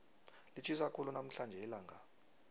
litjhisa khulu namhlanje ilanga